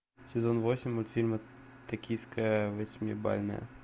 сезон восемь мультфильма токийское восьмибалльное